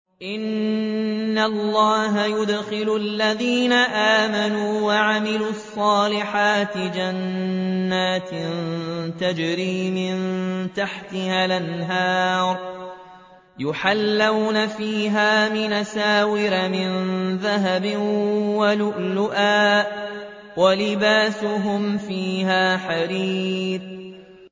إِنَّ اللَّهَ يُدْخِلُ الَّذِينَ آمَنُوا وَعَمِلُوا الصَّالِحَاتِ جَنَّاتٍ تَجْرِي مِن تَحْتِهَا الْأَنْهَارُ يُحَلَّوْنَ فِيهَا مِنْ أَسَاوِرَ مِن ذَهَبٍ وَلُؤْلُؤًا ۖ وَلِبَاسُهُمْ فِيهَا حَرِيرٌ